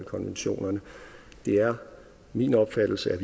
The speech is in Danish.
konventionerne det er min opfattelse at